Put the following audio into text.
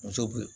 Muso be